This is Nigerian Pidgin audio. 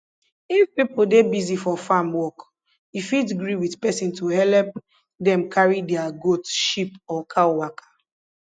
if pipo dey busy for farm work you fit gree with person to helep dem carry their goat sheep or cow waka